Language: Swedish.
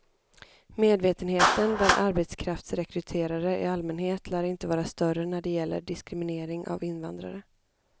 Medvetenheten bland arbetskraftsrekryterare i allmänhet lär inte vara större när det gäller diskriminering av invandrare.